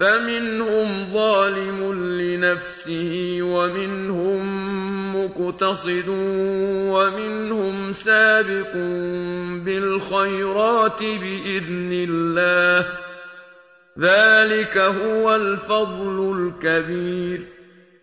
فَمِنْهُمْ ظَالِمٌ لِّنَفْسِهِ وَمِنْهُم مُّقْتَصِدٌ وَمِنْهُمْ سَابِقٌ بِالْخَيْرَاتِ بِإِذْنِ اللَّهِ ۚ ذَٰلِكَ هُوَ الْفَضْلُ الْكَبِيرُ